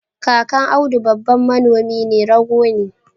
kakan audu babban Manomin rogo ne